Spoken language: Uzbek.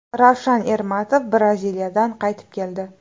Ravshan Ermatov Braziliyadan qaytib keldi.